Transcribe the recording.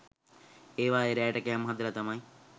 ඒවයේ රෑට කෑම හදලා තමයි